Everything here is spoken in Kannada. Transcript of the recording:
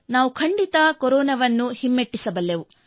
ನಾವು ಖಂಡಿತ ಕೊರೊನಾವನ್ನು ಹಿಮ್ಮೆಟ್ಟಿಸಬಲ್ಲೆವು